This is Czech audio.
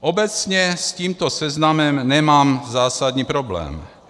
Obecně s tímto seznamem nemám zásadní problém.